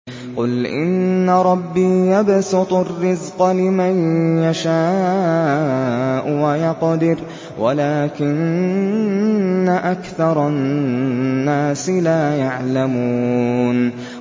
قُلْ إِنَّ رَبِّي يَبْسُطُ الرِّزْقَ لِمَن يَشَاءُ وَيَقْدِرُ وَلَٰكِنَّ أَكْثَرَ النَّاسِ لَا يَعْلَمُونَ